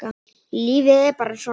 Lífið er bara svona.